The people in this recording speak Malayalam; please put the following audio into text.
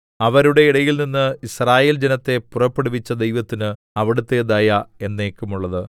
അവരുടെ ഇടയിൽനിന്ന് യിസ്രായേൽ ജനത്തെ പുറപ്പെടുവിച്ച ദൈവത്തിന് അവിടുത്തെ ദയ എന്നേക്കുമുള്ളത്